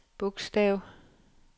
bogstav